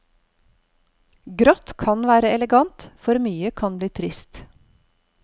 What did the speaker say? Grått kan være elegant, for mye kan bli trist.